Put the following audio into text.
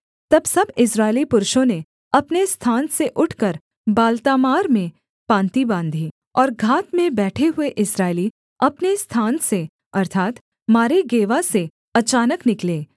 तब सब इस्राएली पुरुषों ने अपने स्थान से उठकर बालतामार में पाँति बाँधी और घात में बैठे हुए इस्राएली अपने स्थान से अर्थात् मारेगेवा से अचानक निकले